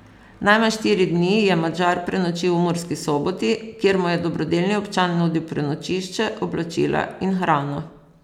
Najmanj štiri dni je Madžar prenočil v Murski Soboti, kjer mu je dobrodelni občan nudil prenočišče, oblačila in hrano.